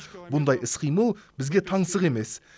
бұндай іс қимыл бізге таңсық емес